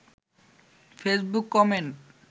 Facebook comment